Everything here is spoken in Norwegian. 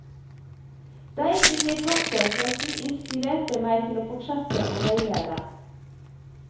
Deg vil jeg takke for at du inspirerte meg til å fortsette å veilede.